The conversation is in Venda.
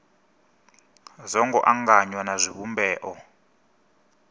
zwo ngo anganywa na zwivhumbeo